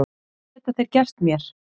Hvað geta þeir gert mér?